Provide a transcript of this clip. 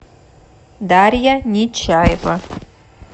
дарья нечаева